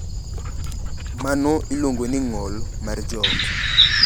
Mano iluongo ni ng’ol mar joot.